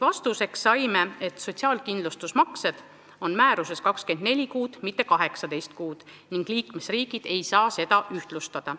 Vastuseks saime, et sotsiaalkindlustusmaksete puhul räägib määrus 24 kuust, mitte 18 kuust, ning liikmesriigid ei saa seda ühtlustada.